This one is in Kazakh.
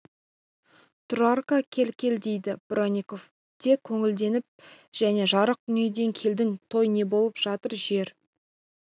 тұрарка кел кел дейді бронников те көңілденіп кәне жарық дүниеден келдің той не болып жатыр жер